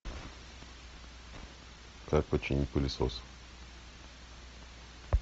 как починить пылесос